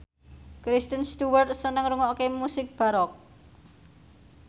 Kristen Stewart seneng ngrungokne musik baroque